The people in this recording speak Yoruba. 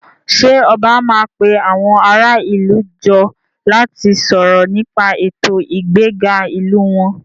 Ṣé ọba máa pe àwọn ará ìlú jọ láti sọ̀rọ̀ nípa ètò ìgbéga ìlú wọn?